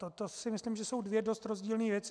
To si myslím, že jsou dvě dost rozdílné věci.